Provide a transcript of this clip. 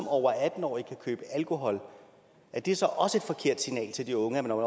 over atten år kan købe alkohol er det så også et forkert signal til de unge at når